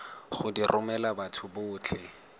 go di romela batho botlhe